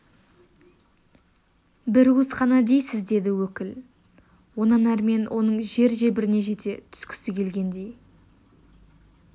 бір уыс қана дейсіз деді өкіл онан әрмен оның жер-жебіріне жете түскісі келгендей